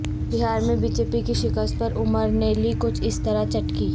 بہار میں B J P کی شکست پر عمر نے لی کچھ اس طرح چٹکی